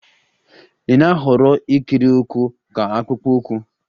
Ị na-ahọrọ ikiri ụkwụ ka akpụkpọ ụkwụ?